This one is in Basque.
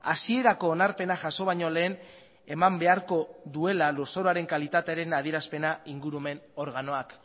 hasierako onarpena jaso baino lehen eman beharko duela lurzoruaren kalitatearen adierazpena ingurumen organoak